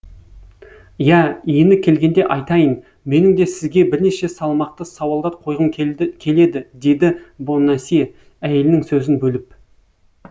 иә иіні келгенде айтайын менің де сізге бірнеше салмақты сауалдар қойғым келеді деді бонасье әйелінің сөзін бөліп